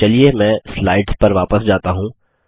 चलिए मैं स्लाइड्स पर वापस जाता हूँ